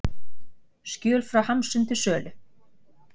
Skjöl frá Hamsun til sölu